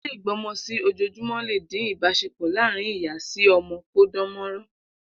Ilé ìgbọ́mọsí-ojoojùmọ́ le dín ibásepọ̀ láàrin Ìyá-si-ọmọ kó dán mọ́rán.